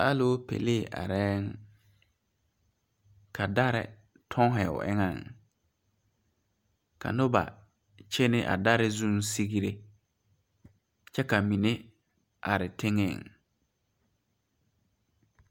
Alopelee are ka dare tonne o eŋa ka noba kyɛne a dare zuŋ sigre kyɛ ka mine are teŋa.